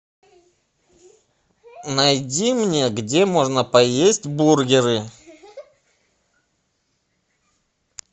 найди мне где можно поесть бургеры